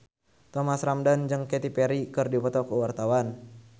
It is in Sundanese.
Thomas Ramdhan jeung Katy Perry keur dipoto ku wartawan